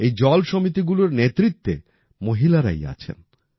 এই জল সমিতিগুলোর নেতৃত্বে মহিলারাই আছেন